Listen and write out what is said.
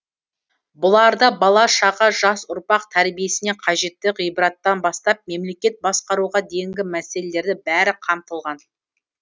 бұларда бала шаға жас ұрпақ тәрбиесіне қажетті ғибраттан бастап мемлекет басқаруға дейінгі мәселелері бәрі қамтылған